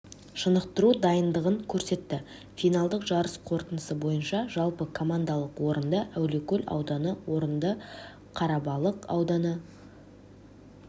шынықтыру дайындығын көрсетті финалдық жарыс қорытындысы бойынша жалпы командалық орынды әулиекөл ауданы орынды қарабалық ауданы